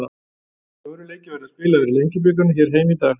Fjórir leikir verða spilaðir í Lengjubikarnum hér heima í dag.